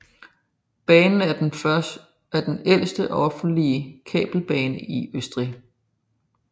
Banen er den ældste offentlige kabelbane i Østrig